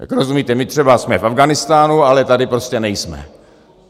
Tak rozumíte, my třeba jsme v Afghánistánu, ale tady prostě nejsme.